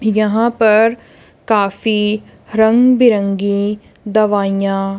यहां पर काफी रंग बिरंगी दवाइयां--